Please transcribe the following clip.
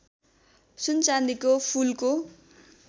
सुन चाँदीको फूलको